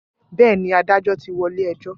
Bẹ́ẹ̀ ni, adájọ́ ti wọ ilé ẹjọ́